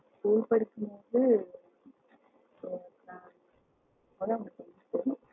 BE படிக்கும் போது அப்போ தான் ஒன்னு தெரிஞ்சுகிட்டேன்.